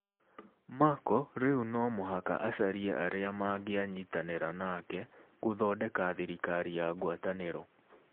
Merkel rĩu no mũhaka acarie arĩa mangĩanyitanĩra nake gũthondeka thirikari ya ngwatanĩro.